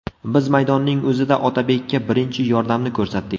Biz maydonning o‘zida Otabekka birinchi yordamni ko‘rsatdik.